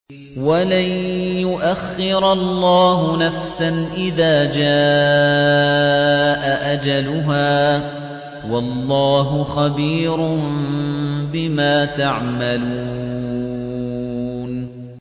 وَلَن يُؤَخِّرَ اللَّهُ نَفْسًا إِذَا جَاءَ أَجَلُهَا ۚ وَاللَّهُ خَبِيرٌ بِمَا تَعْمَلُونَ